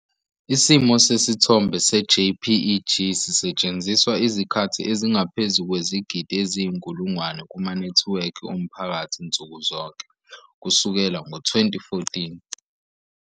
Isimo sesithombe seJPEG sisetshenziswa izikhathi ezingaphezu kwezigidi eziyinkulungwane kumanethiwekhi omphakathi nsuku zonke, kusukela ngo-2014.